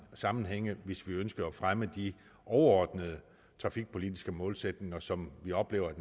sammenhænge hvis vi ønskede at fremme de overordnede trafikpolitiske målsætninger som vi oplever at